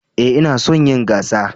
Ee, ina son yin gasa